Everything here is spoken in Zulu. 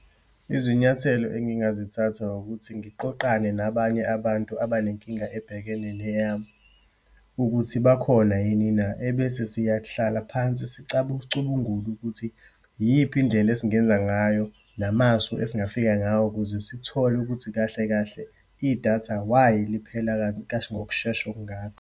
Izinyathelo engingazithatha wukuthi, ngiqoqane nabanye abantu abanenkinga ebhekene neyami, ukuthi bakhona yini na. Ebese siyahlala phansi sicubungule ukuthi iyiphi indlela esingenza ngayo, namasu esingafika ngawo ukuze sithole ukuthi kahle kahle, idatha why liphela ngokushesha okungaka.